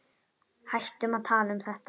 Hættum að tala um þetta.